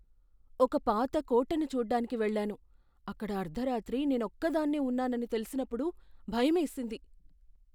ఒక పాత కోటను చూడ్డానికి వెళ్ళాను, అక్కడ అర్ధరాత్రి నేనొక్కదాన్నే ఉన్నానని తెలిసినప్పుడు భయమేసింది.